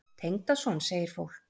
Tengdason? segir fólk.